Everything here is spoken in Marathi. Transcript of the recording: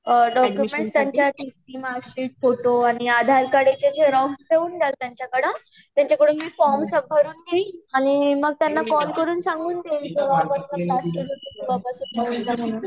अ डॉकयुमेंट त्यांचे टीसी मार्कशीट फोटो आणि आधार कार्ड च्या झेरोक्स देऊन द्या त्यांच्याकडे